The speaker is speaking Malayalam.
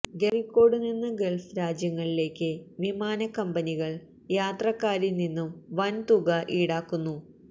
കോഴിക്കോട്ടുനിന്ന് ഗള്ഫ് രാജ്യങ്ങളിലേക്ക് വിമാനക്കമ്പനികള് യാത്രക്കാരില് നിന്നും വൻ തുക ഈടാക്കുന്നു